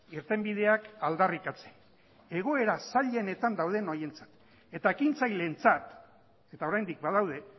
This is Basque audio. irtenbideak aldarrikatzen egoera zailenetan dauden horientzat eta ekintzaileentzat eta oraindik badaude